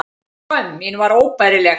Skömm mín var óbærileg.